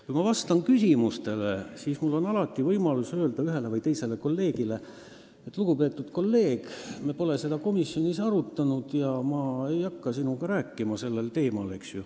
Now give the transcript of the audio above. Kui ma vastan küsimustele, siis mul on alati võimalus öelda ühele või teisele kolleegile, et, lugupeetud kolleeg, me pole seda komisjonis arutanud ja ma ei hakka sinuga rääkima sellel kõrvalisel teemal.